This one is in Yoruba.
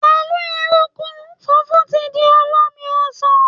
Pẹ̀lú ekuru, funfun ti di olómi ọsàn